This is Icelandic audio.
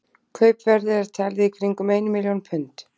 Kaupverðið er talið í kringum ein milljón pund.